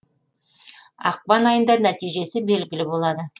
ақпан айында нәтижесі белгілі болады